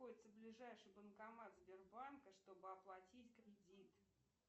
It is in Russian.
находится ближайший банкомат сбербанка чтобы оплатить кредит